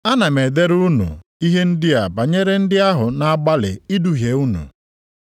Ana m edere unu ihe ndị a banyere ndị ahụ na-agbalị iduhie unu.